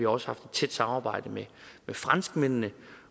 også haft et tæt samarbejde med franskmændene